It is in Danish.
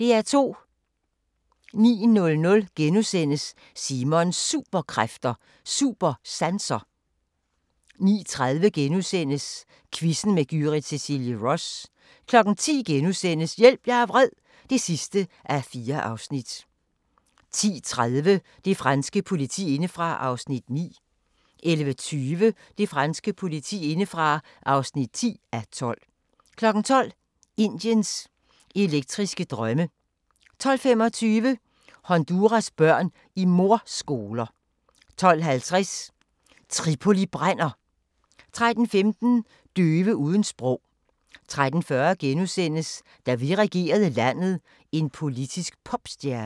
09:00: Simons Superkræfter: Supersanser * 09:30: Quizzen med Gyrith Cecilie Ross * 10:00: Hjælp, jeg er vred (4:4)* 10:30: Det franske politi indefra (9:12) 11:20: Det franske politi indefra (10:12) 12:00: Indiens elektriske drømme 12:25: Honduras børn i mordskoler 12:50: Tripoli brænder! 13:15: Døve uden sprog 13:40: Da vi regerede landet – en politisk popstjerne (Afs. 5)*